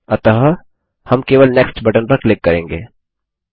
अतः हम केवल नेक्स्ट बटन पर क्लिक करेंगे